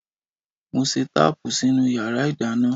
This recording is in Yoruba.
Mo ṣe táàpù sínú yàrá ìdáná.